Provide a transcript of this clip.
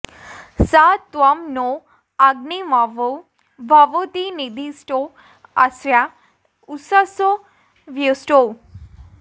स त्वं नो अग्नेऽवमो भवोती नेदिष्ठो अस्या उषसो व्युष्टौ